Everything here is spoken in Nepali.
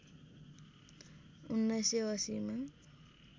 १९८० मा